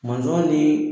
Mɔnzɔn ni